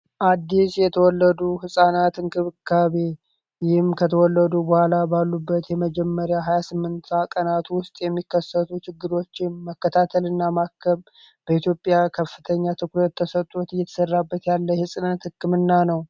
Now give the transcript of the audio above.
አዲስ የተወለዱ ሕፃናት እንክብካቢ ይህም ከተወለዱ በኋላ ባሉበት የመጀመሪያ 28 ቀናቱ ውስጥ የሚከሰቱ ችግዶች መከታተል እና ማከብ በኢትዮጵያ ከፍተኛ ትኩርት ተሰጡት እይተሠራበት ያለ ሕጽነት ሕክምና ነው